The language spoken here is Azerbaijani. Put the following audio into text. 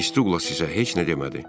Miss Dula sizə heç nə demədi.